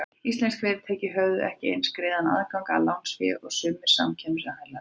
Íslensk fyrirtæki höfðu ekki eins greiðan aðgang að lánsfé og sumir samkeppnisaðilarnir.